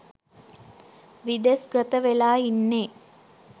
විදෙස්ගත වෙලා ඉන්නේ.